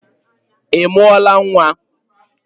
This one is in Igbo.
Ị mụọla nwa?